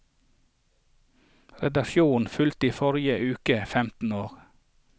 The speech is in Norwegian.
Redaksjonen fylte i forrige uke femten år.